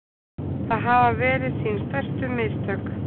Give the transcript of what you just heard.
Það hafi verið sín stærstu mistök